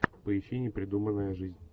поищи непридуманная жизнь